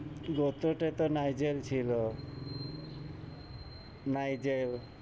গুত্র তে তো নাইজেল ছিল। নাইজেল,